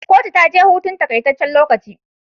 Kotu taje hutun takai tacen lokaci